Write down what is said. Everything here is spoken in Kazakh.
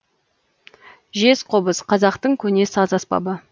жез қобыз қазақтың көне саз аспабы